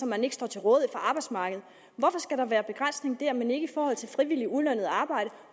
man ikke står til rådighed for arbejdsmarkedet hvorfor skal der være begrænsning der men ikke i forhold til frivilligt ulønnet arbejde